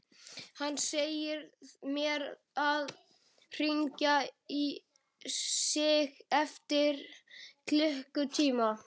Hann segir mér að hringja í sig eftir klukkutíma.